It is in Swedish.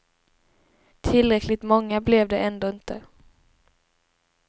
Tillräckligt många blev de ändå inte.